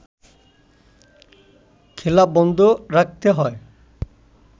খেলা বন্ধ রাখতে হয়